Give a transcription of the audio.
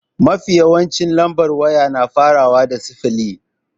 Mafi yawancin lambar waya na farawa ne da sifili.